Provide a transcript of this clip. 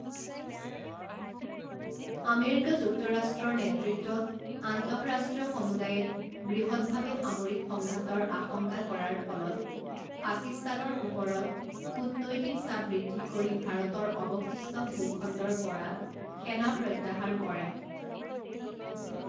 America যুক্তৰাষ্ট্ৰৰ নেতৃত্বত আন্তঃৰাষ্ট্ৰীয় সমুদায়ে, বৃহৎভাৱে সামৰিক সংঘাতৰ আশংকা কৰাৰ ফলত পাকিস্তানৰ ওপৰত কূটনৈতিক চাপ বৃদ্ধি কৰি ভাৰতৰ অৱশিষ্ট ভূখণ্ডৰ পৰা সেনা প্ৰত্যাহাৰ কৰে।